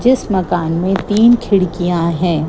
जिस मकान में तीन खिड़कियां हैं।